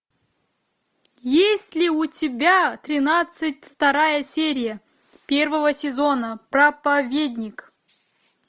есть ли у тебя тринадцать вторая серия первого сезона проповедник